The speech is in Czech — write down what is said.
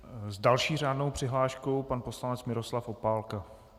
S další řádnou přihláškou pan poslanec Miroslav Opálka.